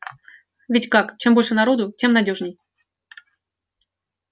ведь как чем больше народу тем надёжней